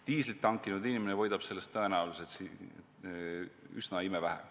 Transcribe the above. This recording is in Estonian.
Diislit hankinud inimene võidab sellest tõenäoliselt imevähe.